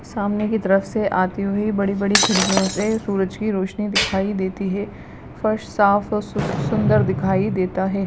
सामने की तरफ से आती हुई बड़ी-बड़ी खिड़कियों से सूरज की रोशनी दिखाई देती है फर्श साफ औ-और सुंदर दिखाई देता है।